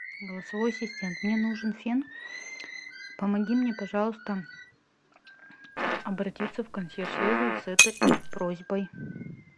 голосовой ассистент мне нужен фен помоги мне пожалуйста обратиться в консьерж сервис с этой просьбой